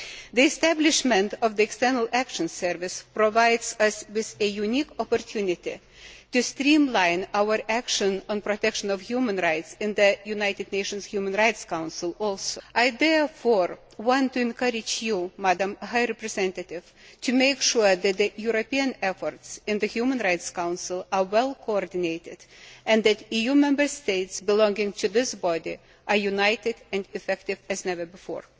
The establishment of the External Action Service also provides us with a unique opportunity to streamline our action on the protection of human rights in the United Nations Human Rights Council. I therefore want to encourage the High Representative to make sure that European efforts in the Human Rights Council are well coordinated and that EU Member States belonging to this body are united and effective as never before.